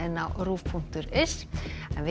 á rúv punktur is en við